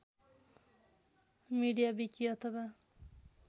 media wiki अथवा